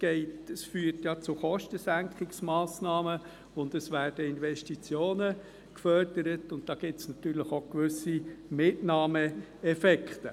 Es führt ja zu Kostensenkungsmassnahmen, es werden Investitionen gefördert, und da gibt es natürlich auch gewisse Mitnahmeeffekte.